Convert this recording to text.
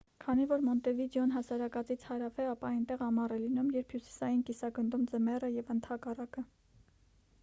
քանի որ մոնտեվիդեոն հասարակածից հարավ է ապա այնտեղ ամառ է լինում երբ հյուսիսային կիսագնդում ձմեռ է և ընդհակառակը